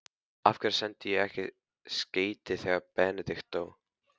Af hverju sendi ég ekki skeyti þegar Benedikt dó?